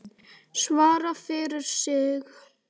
Svara fyrir sig.